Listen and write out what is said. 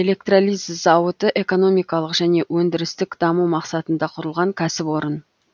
электролиз зауыты экономикалық және өндірістік даму мақсатында құрылған кәсіпорын